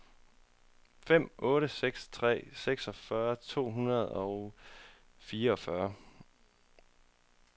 fem otte seks tre seksogfyrre to hundrede og fireogfyrre